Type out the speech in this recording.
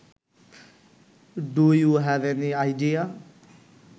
do you have any idea